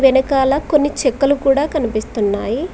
ఎనకాల కొన్ని చెక్కలు కూడా కనిపిస్తున్నాయి.